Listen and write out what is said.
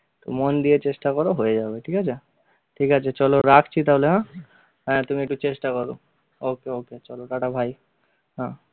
তো মন দিয়ে চেষ্টা কর হয়ে যাবে, ঠিক আছে ঠিক আছে চলো রাখছি তাহলে হা? হ্যা তুমি একটু চেষ্টা কর ok ok চলো টাটা bye হ্যা